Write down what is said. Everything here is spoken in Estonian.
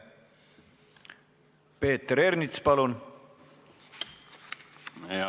Peeter Ernits, palun!